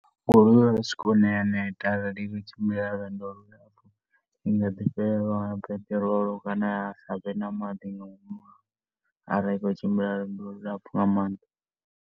Goloi i ya swika hune ya neta arali i tshi khou tshimbila lwendo lu lapfhu. I nga ḓi fhelelwa nga peṱirolo kana ya sa vhe na maḓi nga ngomu arali i tshi khou tshimbila lwendo lu lapfhu nga maanḓa.